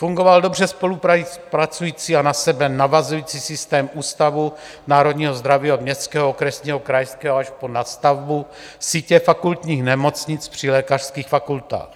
Fungoval dobře spolupracující a na sebe navazující systém ústavů národního zdraví od městského, okresního, krajského až po nadstavbu sítě fakultních nemocnic při lékařských fakultách.